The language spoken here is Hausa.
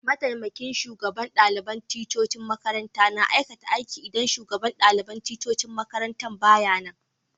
Mataimakin shugaban dalibain ticcocin makaranta na aikata idan shugaban dalibain ticcocin makarantan ba ya nan